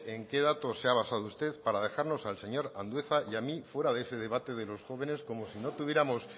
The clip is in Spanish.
en qué dato se ha basado usted para dejarnos al señor andueza y a mi fuera de ese debate de los jóvenes como si no tuviéramos